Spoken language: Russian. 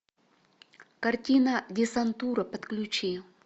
картина десантура подключи